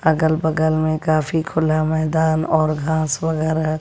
अगल बगल में काफी खुला मैदान और घास वगैरा--